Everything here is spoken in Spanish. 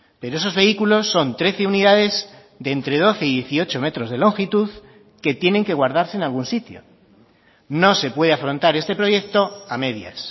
pero esos vehículos son trece unidades de entre doce y dieciocho metros de longitud que tienen que guardarse en algún sitio no se puede afrontar este proyecto a medias